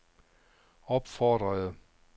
opfordrede